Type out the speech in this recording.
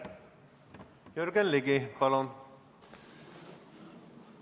Jürgen Ligi, palun!